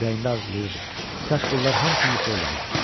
Ürəyində arzulayırdı: Kaş bunlar hamısı yuxu olaydı.